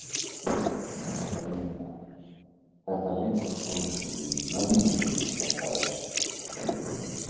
Brynja: Þetta liggur svolítið í mjöðmunum er það ekki?